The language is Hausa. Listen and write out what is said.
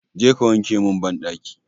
Je ka wanke min banɗaki!